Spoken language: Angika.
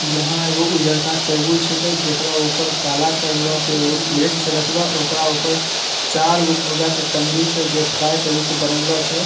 यहाँ एगो उजरका टेबुल छीके जेकरा ऊपर काला करलो के एगो प्लेट छै रखलो ओकरा ऊपर चारगो मुर्गा के टंगरी छै जे फ्राई कर के बनेलो छै।